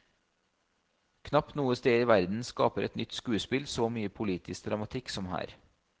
Knapt noe sted i verden skaper et nytt skuespill så mye politisk dramatikk som her.